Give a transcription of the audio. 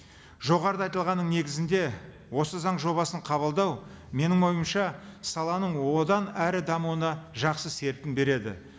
жоғарыда айтылғанның негізінде осы заң жобасын қабылдау менің ойымша саланың одан әрі дамуына жақсы серпін береді